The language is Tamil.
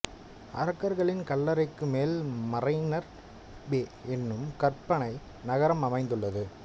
அரக்கர்களின் கல்லறைக்கு மேல் மரைனர் பே என்னும் கற்பனை நகரம் அமைந்துள்ளது